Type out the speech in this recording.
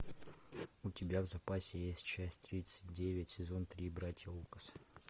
у тебя в запасе есть часть тридцать девять сезон три братья лукас